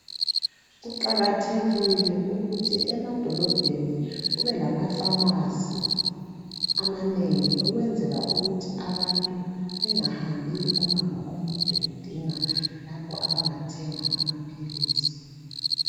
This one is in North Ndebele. Kuqakathekile ukuthi emadolobheni kube lamafamasi amanengi ukwenzela ukuthi abantu bengahambi umango omude bedinga lapho abangathenga amaphilisi.